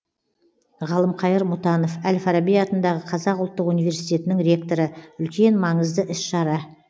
ғалымқайыр мұтанов әл фараби атындағы қазақ ұлттық университетінің ректоры үлкен маңызды іс шара